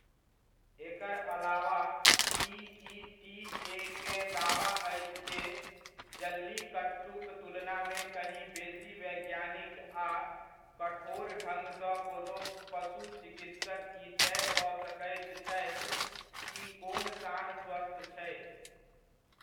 एकर अलावा पीइटीएकेँ दावा अछि जे, जल्लीकट्टूक तुलनामे कहीं बेसी वैज्ञानिक आ कठोर ढङ्ग सऽ कोनो पशु चिकित्सक ई तय कऽ सकैत छथि कि कोन साँढ स्वस्थ छै।